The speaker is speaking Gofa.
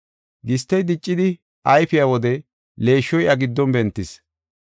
Gistey diccidi ayfiya wode leeshshoy iya giddon bentis.